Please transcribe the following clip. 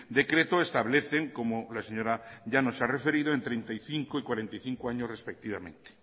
decreto establecen como la señora llanos se ha referido en treinta y cinco y cuarenta y cinco años respectivamente